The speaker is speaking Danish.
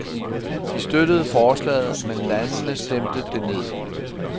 De støttede forslaget, men landene stemte det ned.